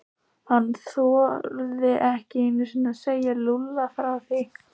Hann þorði ekki einu sinni að segja Lúlla frá því.